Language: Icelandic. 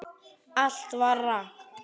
Allt var rangt.